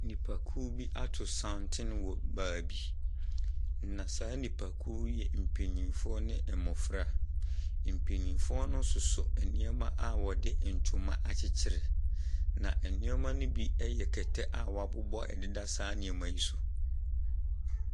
Nnipakuo bi ato santene wɔ baabi, na saa nnipakuo yi yɛ mpanimfoɔ ne mmɔfra. Mpanimfoɔ no soso nneɛma a wɔde ntoma akyekyere, na nneɛma no bi yɛ kɛtɛ a wɔabobɔ deda saa nneɛma yi so.